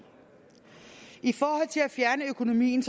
i forhold til det at fjerne økonomien